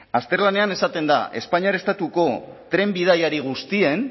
azterlanean esaten da espainiar estatuko tren bidaiari guztien